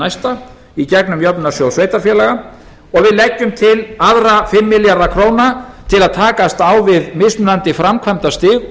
næsta í gegnum jöfnunarsjóð sveitarfélaga og við leggjum til aðrar fimm milljarða króna til að takast á við mismunandi framkvæmdastig